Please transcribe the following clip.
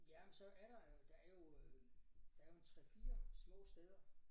Ja så er der der er jo øh en 3 4 små steder